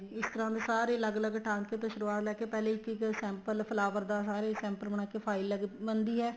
ਇਸ ਤਰ੍ਹਾਂ ਦੇ ਸਾਰੇ ਅਲੱਗ ਅਲੱਗ ਟਾਂਕੇ ਤੋ ਸੁਰੂਆਤ ਲੈਕੇ ਪਹਿਲੇ ਇੱਕ ਇੱਕ sample flower ਦਾ ਸਾਰੇ sample ਬਣਾਕੇ file ਬਣਦੀ ਏ